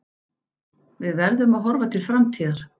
Við verðum að horfa til framtíðar.